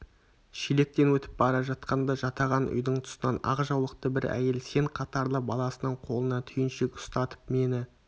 шелектен өтіп бара жатқанда жатаған үйдің тұсынан ақ жаулықты бір әйел сен қатарлы баласының қолына түйіншек ұстатып мені